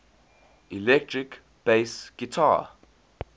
electric bass guitar